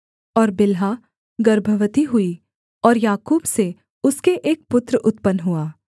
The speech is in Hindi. और बिल्हा गर्भवती हुई और याकूब से उसके एक पुत्र उत्पन्न हुआ